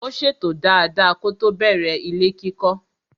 Ó ṣètò dada kótó bẹ̀rẹ̀ ilé kíkọ́.